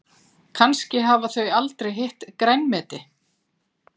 Kannski hafa þau aldrei hitt grænmeti.